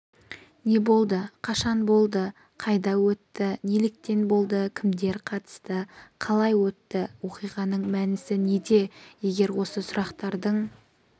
не болды қашан болды қайда өтті неліктен болды кімдер қатысты қалай өтті оқиғаның мәнісі неде егер осы сұрақтардың